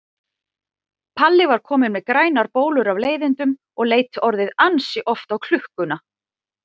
Palli var kominn með grænar bólur af leiðindum og leit orðið ansi oft á klukkuna.